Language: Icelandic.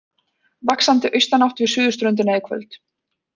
Vaxandi austanátt við suðurströndina í kvöld